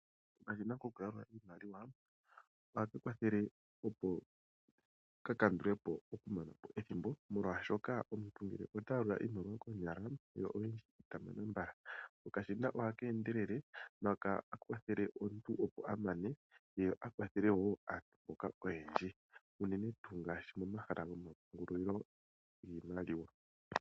Okashina koku yalula iimaliwa oha kwathele opo kakandulapo emanepo lyethimbo, oshoka omuntu ngele ta yalula iimaliwa koonyala yo oyindji itamana mbala. Okashina ohakeendelele ko ohakakwathele omuntu okwalethele aantu oyendji teendele nokawanawa okulongithwa pomahala gomapungulilo giimaliwa.